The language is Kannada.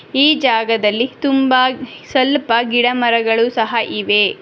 ಈ ಜಾಗದಲ್ಲಿ ತುಂಬಾ ಸಲ್ಪ ಗಿಡ ಮರಗಳು ಸಹ ಇವೆ.